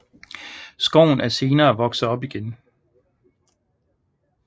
Skoven er senere vokset op igen